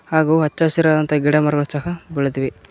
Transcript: ಹಾಗು ಹಚ್ಚ ಹಸಿರಾದಂತಹ ಗಿಡಮರಗಳು ಸಹ ಬೆಳೆದಿವೆ.